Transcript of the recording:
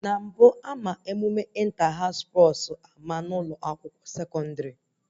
Na mbụ, ama Ịnta haụs spọs ama n'ụlọ akwụkwọ sekọndrị